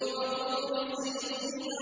وَطُورِ سِينِينَ